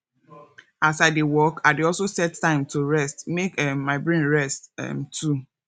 as i dey work i dey also set time to rest mek um my brain rest um too